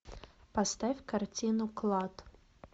поставь картину клад